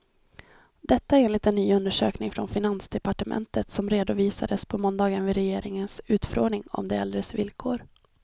Detta enligt en ny undersökning från finansdepartementet, som redovisades på måndagen vid regeringens utfrågning om de äldres villkor.